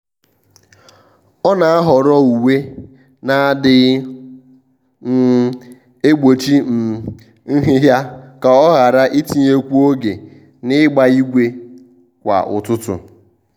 ọ́ nà-àhọ́rọ́ uwe nà-adị́ghị́ um ègbòchí um nhị́hị́à kà ọ́ ghara itinyekwu oge n’ị́gbà ígwè kwa ụ́tụ́tụ́.